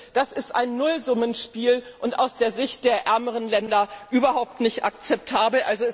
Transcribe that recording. das ist ein Nullsummenspiel und aus der Sicht der ärmeren Länder überhaupt nicht akzeptabel!